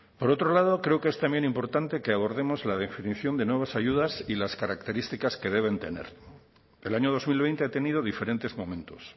por otro lado creo que es también importante que abordemos la definición de nuevas ayudas y las características que deben tener el año dos mil veinte ha tenido diferentes momentos